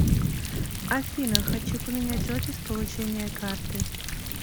афина хочу поменять офис получения карты